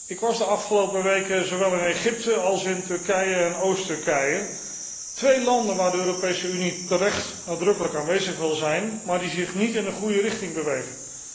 Ik was de afgelopen weken zowel in Egypte als in Turkije en Oost Turkije, twee landen waar de Europese Unie terecht nadrukkelijk aanwezig wil zijn, maar die zich niet in de goede richting bewegen.